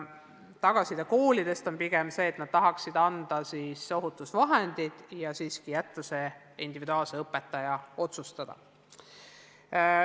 Koolide tagasiside on olnud pigem selline, et nad tahaksid anda ohutusvahendid ja jätta selle õpetaja enda otsustada.